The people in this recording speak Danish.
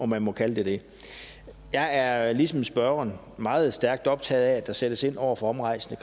man må kalde det det jeg er ligesom spørgeren meget stærkt optaget af at der sættes ind over for omrejsende